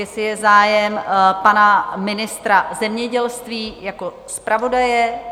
Jestli je zájem pana ministra zemědělství jako zpravodaje?